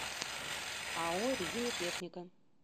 ао резинотехника